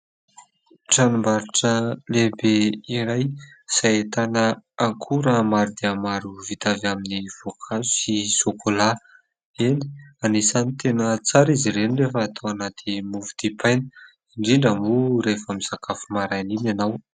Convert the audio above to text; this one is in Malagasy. Tranombarotra lehibe iray izay ahitana akora maro dia maro vita avy amin'ny voankazo sy sokolà. Eny, anisany tena tsara izy ireny rehefa atao anaty mofo dipaina indrindra moa rehefa misakafo maraina iny ianao.